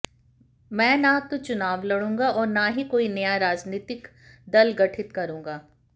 मैं न तो चुनाव लडूंगा और न ही कोई नया राजनीतिक दल गठित करूंगा